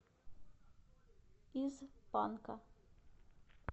из панка